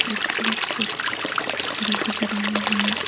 कुछ लोग कुछ खरीद रहे हैं।